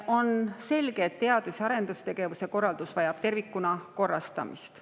On selge, et teadus- ja arendustegevuse korraldus vajab tervikuna korrastamist.